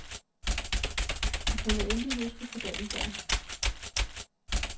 De kunne intet huske fra dagen før.